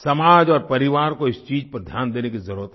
समाज और परिवार को इस चीज़ पर ध्यान देने की ज़रुरत है